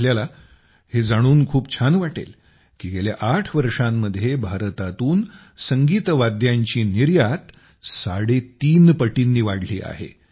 आपल्याला हे जाणून खूप छान वाटेल की गेल्या ८ वर्षांमध्ये भारतातून संगीत वाद्यांची निर्यात तीन पटींनी वाढली आहे